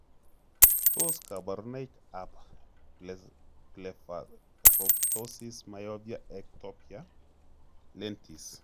Tos kaborunoik ab blepharoptosis myopia ectopia lentis?